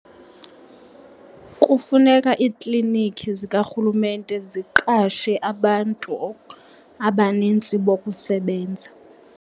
Kufuneka iiklinikhi zikarhulumente ziqashe abantu abanintsi bokusebenza.